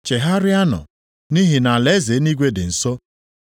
“Chegharịanụ, nʼihi na alaeze eluigwe dị nso.”